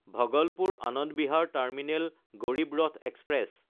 Bhagalpur-Anand Bihar terminal Garib Rath express